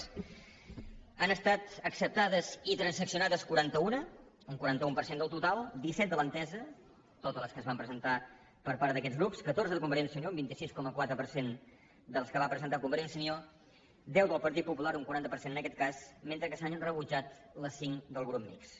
n’han estat acceptades i transaccionades quaranta una un quaranta un per cent del total disset de l’entesa totes les que es van presentar per part d’aquests grups catorze de convergència i unió un vint sis coma quatre per cent de les que va presentar convergència i unió deu del partit popular un quaranta per cent en aquest cas mentre que s’han rebutjat les cinc del grup mixt